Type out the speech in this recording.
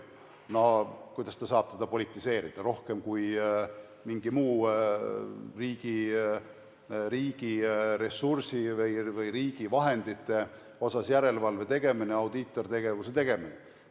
No kuidas ta saab teda politiseerida rohkem kui mingi muu riigiressursi või riigivahendite suhtes järelevalve tegemine, audiitortegevus?